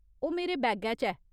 ओह् मेरे बैगै च ऐ।